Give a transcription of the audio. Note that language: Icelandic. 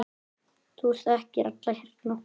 Þú þekkir alla hérna.